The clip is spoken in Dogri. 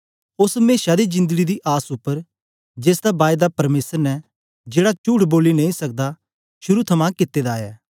ओस मेशा दी जिंदड़ी दी आस उपर जेसदा बायदा परमेसर ने जेड़ा चुठ बोली नेई सकदा शुरू थमां कित्ते दा ऐ